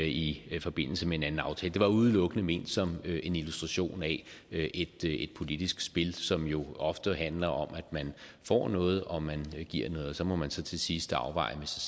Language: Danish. i i forbindelse med en anden aftale det var udelukkende ment som illustration af af et politisk spil som jo ofte handler om at man får noget og man giver noget og så må man så til sidst afveje med sig